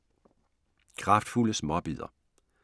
Kraftfulde småbidder